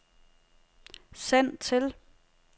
send til